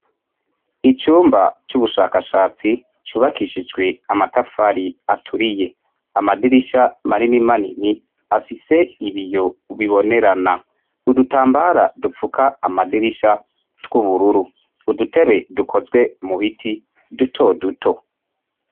Icumba c'ubushakashatsi cubakishijwe amatafari aturiye. Amadirisha manini manini afise ibiyo bibonerana. Udutambara dupfuka amadirisha tw'ubururu. Udutebe dukozwe mu biti duto duto.